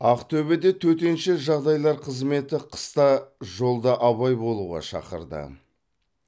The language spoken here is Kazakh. ақтөбеде төтенше жағдайлар қызметі қыста жолда абай болуға шақырды